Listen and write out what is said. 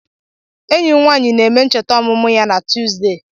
Enyi m nwanyị na-eme ncheta ọmụmụ ya na Tuesdau